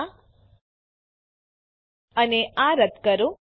આ અને આ રદ્દ કરો